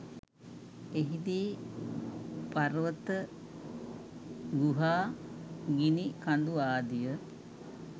එහිදී පර්වත ගුහා ගිනි කඳු ආදිය